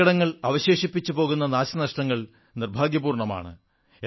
അപകടങ്ങൾ അവശേഷിപ്പിച്ചു പോകുന്ന നാശനഷ്ടങ്ങൾ ദുർഭാഗ്യപൂർണ്ണമാണ്